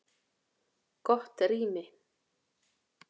Gott rými